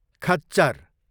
खच्चर